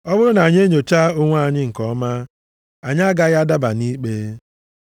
Ọ bụrụ na anyị enyochaa onwe anyị nke ọma, anyị agaghị adaba nʼikpe.